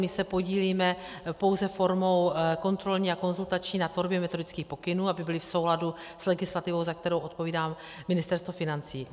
My se podílíme pouze formou kontrolní a konzultační na tvorbě metodických pokynů, aby byly v souladu s legislativou, za kterou odpovídá Ministerstvo financí.